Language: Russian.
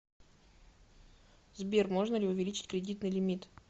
сбер можно ли увеличить кредитный лимит